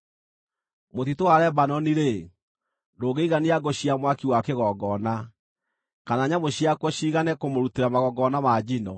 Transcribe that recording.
Mũtitũ wa Lebanoni-rĩ, ndũngĩigania ngũ cia mwaki wa kĩgongona, kana nyamũ ciakuo ciigane kũmũrutĩra magongona ma njino.